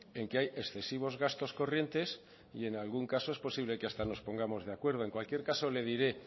en que hay excesivos gastos corrientes y en algún caso es posible que hasta nos pongamos de acuerdo en cualquier caso le diré